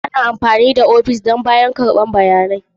Ana amfani da ofis don bayarwa da karɓar bayanai.